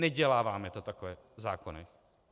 Neděláváme to tak v zákonech.